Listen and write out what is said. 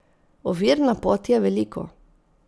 Ovir na poti je veliko.